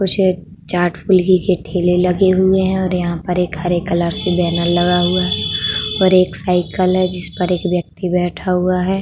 कुछ चाट फुल्की के ठेले लगे हुए हैं और यहा पर एक हरे कलर से बैनर लगा हुआ है और एक साईकल है जिसपर एक व्यक्ति बैठा हुआ है।